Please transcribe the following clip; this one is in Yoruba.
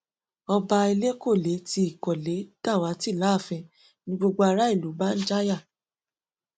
ọba elékọlẹ ti ìkọlé dàwátì láàfin ni gbogbo ará ìlú bá ń jáyà